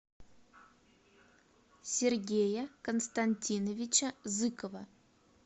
сергея константиновича зыкова